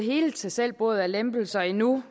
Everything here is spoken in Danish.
hele tag selv bordet af lempelser endnu